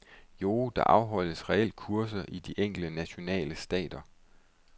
Jo, der afholdes reelt kurser i de enkelte nationale stater.